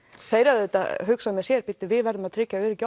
þeir auðvitað hugsa með sér við verðum að tryggja öryggi